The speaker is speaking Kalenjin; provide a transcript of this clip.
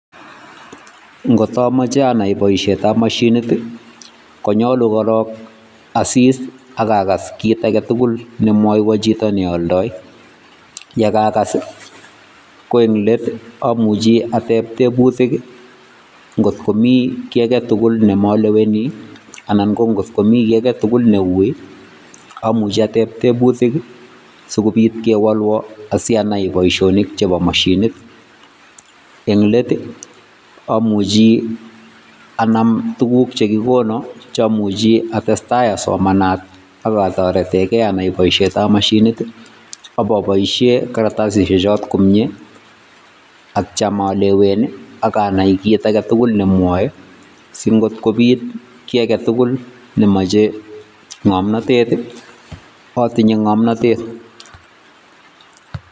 Ngot amache anai boisietab moshinit, konyolu korok asis ak kakas kiit age tugul nemwoiwo chito ne aldai. Ye kakas, ko ing let amuchi atep tebutik, ngotko mi kiiy age tugul nemaelewani anan ngot komi kiiy age tugul neuui amuchi atep tebutik sikopit kewolwo asikopit anai boisionik chebo mashinit. Eng let amuchi anam tuguk chekikonu chamuchi atestai asomanat aka toretekei anai boisietab mashinit, ipobaishen karatasisiek choton komnye atya alewen akanai kiit age tugul nemwoe, sitngopit kiit agetugul nemochei ngomnotet atinye ngomnotet.